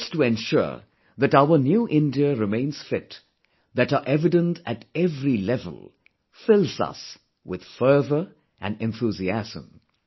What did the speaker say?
Efforts to ensure that our New India remains fit that are evident at every level fills us with fervour & enthusiasm